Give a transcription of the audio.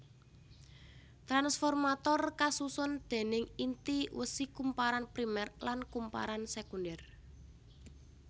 Tranformator kasusun déning inti wesi kumparan primer lan kumparan sekunder